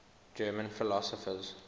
german philosophers